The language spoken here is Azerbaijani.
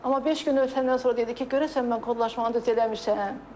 Amma beş gün ötəndən sonra dedi ki, görəsən mən kodlaşmanı düz eləmişəm?